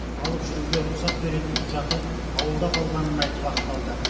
алып жүруге рұқсат беретін құжаты ауылда қалғанын айтып ақталды